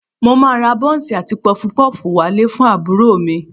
Mo máa ra bọ́ńsì àti Pọfupọ́ọ̀fù wá ilé fún àbúrò mi